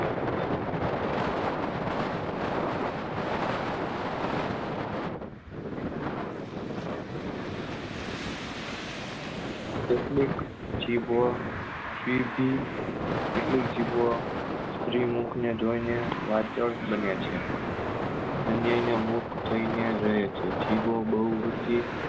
કેટલીક જીભો સીધી કેટલીક જીભો સ્ત્રી મુખ ને જોઈ ને વાર્ત્રણ બને છે અન્ય ને મુખ જોઈ ને રહે છે જીભો બહુ વૃદ્ધિ